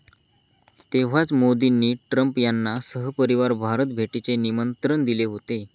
तेव्हाच मोदींनी ट्रम्प यांना सहपरिवार भारत भेटीचे निमंत्रण दिले होते.